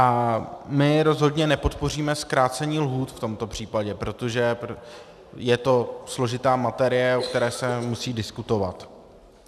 A my rozhodně nepodpoříme zkrácení lhůt v tomto případě, protože je to složitá materie, o které se musí diskutovat.